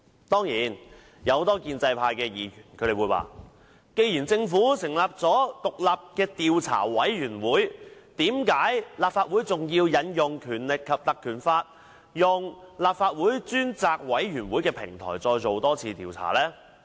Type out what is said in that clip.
當然，有很多建制派議員會問，既然政府已成立獨立調查委員會調查事件，為何立法會還要引用《立法會條例》，以立法會專責委員會的平台再作調查？